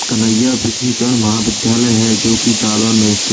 कन्हैया महाविद्यायलाय है जोकि जालौन में स्थित --